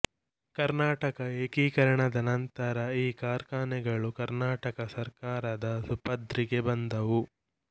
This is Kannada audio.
ಕರ್ನಾಟಕ ಏಕೀಕರಣದ ನಂತರ ಈ ಕಾರ್ಖಾನೆಗಳು ಕರ್ನಾಟಕ ಸರ್ಕಾರದ ಸುಪರ್ದಿಗೆ ಬಂದವು